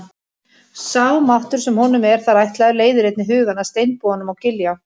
Sá máttur sem honum er þar ætlaður leiðir einnig hugann að steinbúanum á Giljá.